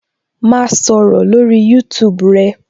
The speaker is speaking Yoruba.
Ma sọ̀rọ̀ lórí YouTube rẹ